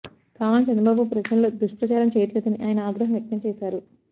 కావాలని చంద్రబాబు ప్రజల్లో దుష్పప్రచారం చేసున్నారని ఆయన ఆగ్రహం వ్యక్తం చేశారు